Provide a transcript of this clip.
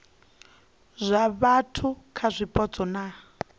zwa vhathu kha zwipotso na